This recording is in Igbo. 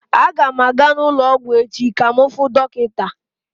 Aga m aga n'ụlọ ọgwụ echi ka m fuu dọkịta.